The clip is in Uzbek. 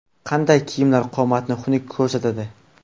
Qanday kiyimlar qomatni xunuk ko‘rsatadi?.